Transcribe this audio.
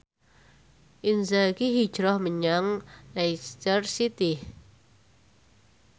Inzaghi hijrah menyang Leicester City